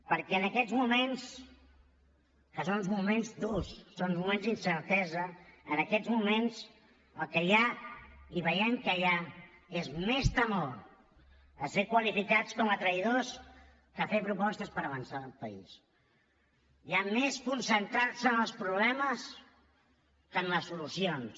perquè en aquests moments que són uns moments durs són uns moments d’incertesa en aquests moments el que hi ha i veiem que hi ha és més temor a ser qualificats com a traïdors que a fer propostes per avançar el país hi ha més concentrar se en els problemes que en les solucions